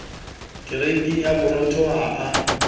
kereiting ya borobong ha a